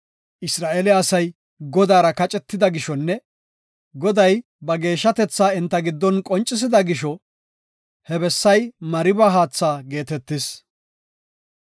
Isra7eele asay Godaara kacetida gishonne Goday ba geeshshatetha enta giddon qoncisida gisho he bessay Mariba haatha geetetis.